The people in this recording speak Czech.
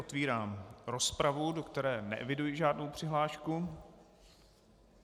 Otevírám rozpravu, do které neeviduji žádnou přihlášku.